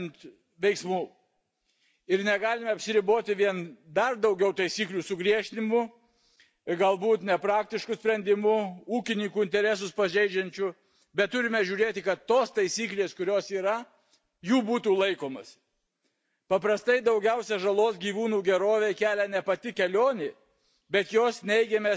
Ir negalima apsiriboti vien dar daugiau taisyklių sugriežtinimu, ir galbūt net nepraktišku sprendimu, ūkininkų interesus pažeidžiančiu, bet turime žiūrėti, kad tos taisyklės, kurios yra, jų būtų laikomasi. Paprastai daugiausiai žalos gyvūnų gerovei kelia ne pati kelionė, bet jos neigiami aspektai, ekstremali temperatūra,